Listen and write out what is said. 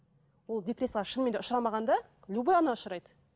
ол депрессияға шынымен де ұшырамағанда любой ана ұшырайды